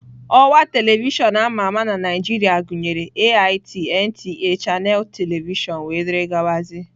Ọwa telivishọn ama ama na Naijiria gụnyere AIT, NTA, Channels telivishọn wdg.